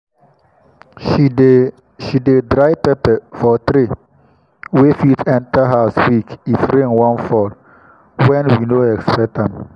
she dey she dey dry pepper for tray wey fit enter house quick if rain wan fall wen we no expect am